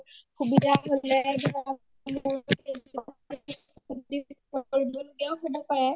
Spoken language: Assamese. সুবিধা হলে হব পাৰে